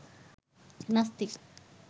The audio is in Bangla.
নাস্তিক